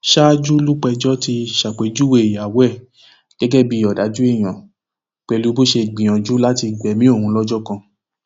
ṣáájú lúpẹjọ ti ṣàpèjúwe ìyàwó ẹ gẹgẹ bíi ọdájú èèyàn pẹlú bó ṣe gbìyànjú láti gbẹmí òun lọjọ kan